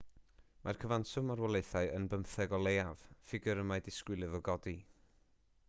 mae'r cyfanswm marwolaethau yn 15 o leiaf ffigur y mae disgwyl iddo godi